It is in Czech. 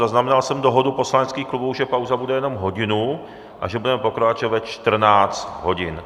Zaznamenal jsem dohodu poslaneckých klubů, že pauza bude jenom hodinu a že budeme pokračovat ve 14 hodin.